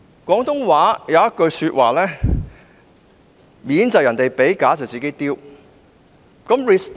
廣州話有一句俗語："面子是別人給的，臉是自己丟的"。